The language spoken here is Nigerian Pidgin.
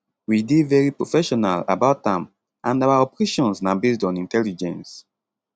we dey very professional about am and our operations na based on intelligence